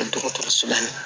Dɔgɔtɔrɔso la